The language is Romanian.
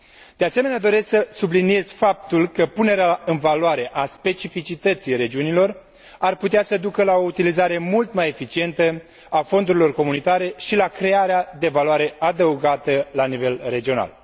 De asemenea, doresc să subliniez faptul că punerea în valoare a specificității regiunilor ar putea să ducă la o utilizare mult mai eficientă a fondurilor comunitare și la crearea de valoare adăugată la nivel regional.